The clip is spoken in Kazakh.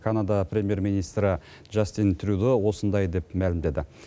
канада премьер министрі джастин трюдо осындай деп мәлімдеді